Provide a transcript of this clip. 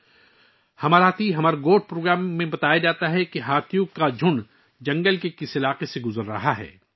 programme 'ہمار ہاتھی ہمار گوٹھ' میں یہ اعلان کیا جاتا ہے کہ ہاتھیوں کا ایک جھنڈ جنگل کے کس علاقے سے گزر رہا ہے